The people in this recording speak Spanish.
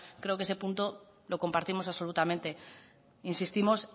creo que ese punto lo compartimos absolutamente insistimos